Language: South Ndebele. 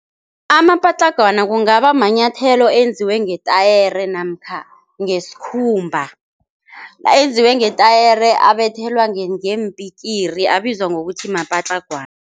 Amapatlagwana kungabamanyathelo enziwe ngetayere namkha ngesikhumba enziwe ngetayere abethelwa ngeempikiri abizwa ngokuthi mapatlagwana.